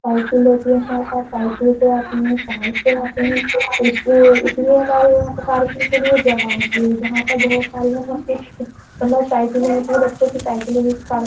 Cycle से आते है कार से आते है। इसलिए इसीलिए हमारे यहाँ पार्किंग के लिए जगह होती है जहाँ पर बहुत सारे --